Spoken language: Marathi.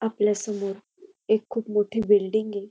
आपल्यासमोर एक खूप मोठी बिल्डिंग ये.